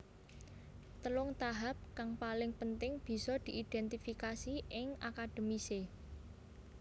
Telung tahap kang paling penting bisa diidentifikasi ing akademise